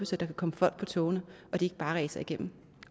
så der kan komme folk på togene og at de ikke bare ræser igennem